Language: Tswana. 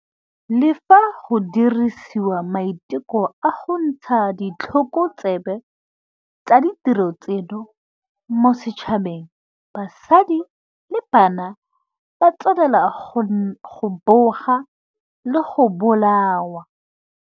Le fa go diriwa maiteko a go ntsha ditlhokotsebe tsa ditiro tseno mo setšhabeng, basadi le bana ba tswelela go boga le go bolawa.